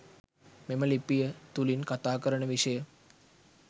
මෙම ලිපිය තුලින් කථා කරන විෂය